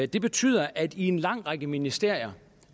det betyder at i en lang række ministerier